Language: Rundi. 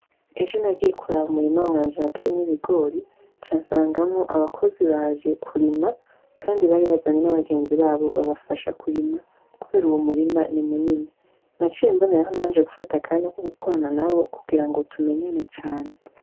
Ejo nagiye kuraba umurima wanje nateyemwo ibigori casangamwo abakozi baje kurima kandi bari bazanye n'abagenzi babo babafasha kurima kubera uwo murima ni munini naciye mboneraho nanje akanya ko gukorana nabo kugira ngo tumenyane cane.